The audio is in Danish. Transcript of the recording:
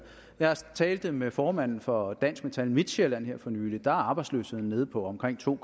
jeg talte med formanden for dansk metal midtsjælland her for nylig og der er arbejdsløsheden nede på omkring to